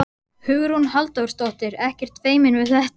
Hugrún Halldórsdóttir: Ekkert feiminn við þetta?